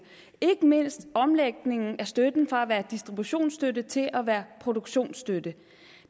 ikke mindst omlægningen af støtten fra at være distributionsstøtte til at være produktionsstøtte